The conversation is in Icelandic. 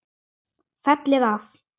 Fellið af.